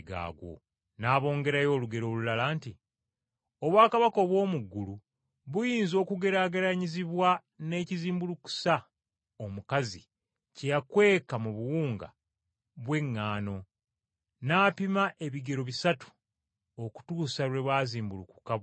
N’abongerayo olugero olulala nti, “Obwakabaka obw’omu ggulu buyinza okugeraageranyizibwa n’ekizimbulukusa omukazi kye yakweka mu buwunga bw’eŋŋaano, n’apima ebigero bisatu okutuusa lwe bwazimbulukuka bwonna.”